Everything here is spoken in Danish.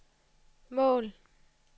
mål